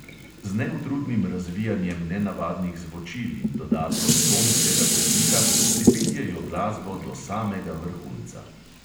Z neutrudnim razvijanjem nenavadnih zvočil in dodatkom tonskega pridiha pripeljejo glasbo do samega vrhunca.